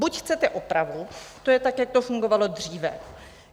Buď chcete opravu, to je tak, jak to fungovalo dříve.